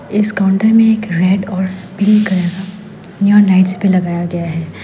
इस काउंटर में एक रेड और पिंक कलर का नियॉन लाइट्स भी लगाया गया है।